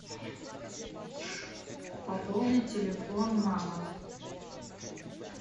пополнить телефон мама